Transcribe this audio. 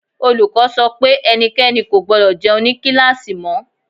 Olùkọ́ sọ pé ẹnikẹ́ni kò gbọdọ̀ jẹun ní kíláàsì mọ́.